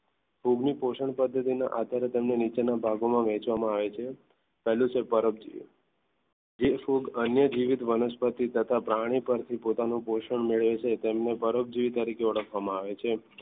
ફૂગની પોષણ પદ્ધતિના આધારે તેમને અંદરના ભાગોમાં વહેંચવામાં આવે છે પહેલું છે પરોપજીવી જે ફૂગ અન્ય જીવિત વનસ્પતિ તથા પ્રાણી પરથી પોતાનું પોષણ મેળવે છે તેમની પરોપજીવી તરીકે ઓળખવામાં આવે છે.